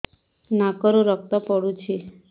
ନାକରୁ ରକ୍ତ ପଡୁଛି